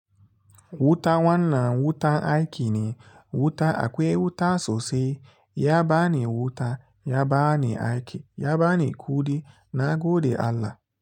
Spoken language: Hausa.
Wuta wanna wuta aiki ne, wuta akwai wuta sosai, ya bani wuta, ya bani aiki, ya bani kuɗi na gode Allah.